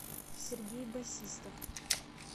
сергей басистов